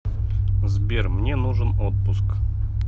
сбер мне нужен отпуск